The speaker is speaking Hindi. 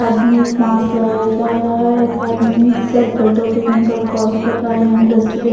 आदमी मास्क लगाया जा रहा है एक आदमी सर पर टोपी पहनकर कॉल कर रहा है यहाँ डस्टबिन --